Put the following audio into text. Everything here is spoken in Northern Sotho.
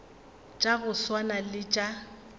tša go swana le tša